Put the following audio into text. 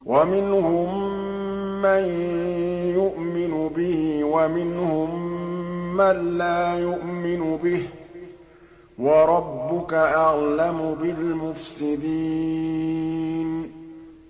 وَمِنْهُم مَّن يُؤْمِنُ بِهِ وَمِنْهُم مَّن لَّا يُؤْمِنُ بِهِ ۚ وَرَبُّكَ أَعْلَمُ بِالْمُفْسِدِينَ